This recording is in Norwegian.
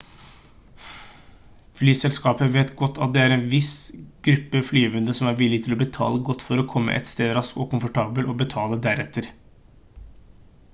flyselskaper vet godt at det er en viss gruppe flyvende som er villige til å betale godt for å komme et sted raskt og komfortabelt og betale deretter